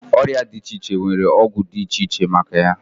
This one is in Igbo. Ọrịa dị iche iche nwere ọgwụ dị iche iche maka ya